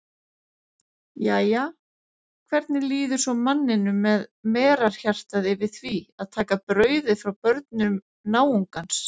Jæja, hvernig líður svo manninum með merarhjartað yfir því að taka brauðið frá börnum náungans?